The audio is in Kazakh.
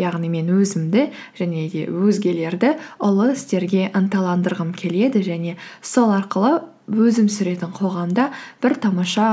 яғни мен өзімді және де өзгелерді ұлы істерге ынталандырғым келеді және сол арқылы өзім сүретін қоғамда бір тамаша